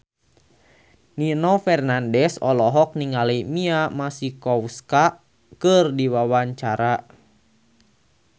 Nino Fernandez olohok ningali Mia Masikowska keur diwawancara